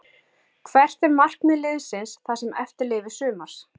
Hvert er markmið liðsins það sem eftir lifir sumars?